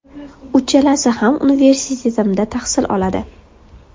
Uchalasi ham universitetimda tahsil oladi.